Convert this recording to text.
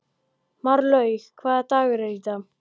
Marlaug, hvaða dagur er í dag?